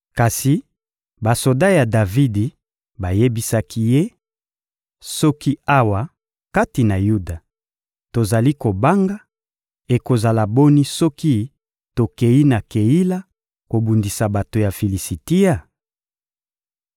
Kasi basoda ya Davidi bayebisaki ye: — Soki awa kati na Yuda, tozali kobanga, ekozala boni soki tokeyi na Keila kobundisa bato ya Filisitia?